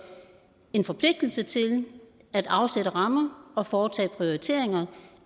en forpligtelse til at afsætte rammer og foretage prioriteringer